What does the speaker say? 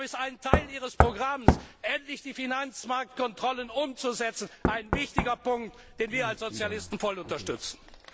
Und deshalb ist ein Teil Ihres Programms, endlich die Finanzmarktkontrollen umzusetzen, ein wichtiger Punkt, den wir als Sozialisten voll unterstützen.